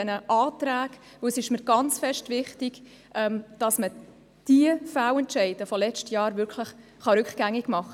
Denn es ist mir ausgesprochen wichtig, dass man diese Fehlentscheide des letzten Jahres rückgängig macht.